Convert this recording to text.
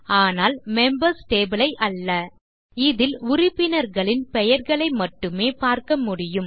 ஆனால் members table ஐ அல்ல இதில் உறுப்பினர்களின் பெயர்களை மட்டுமே பார்க்க முடியும்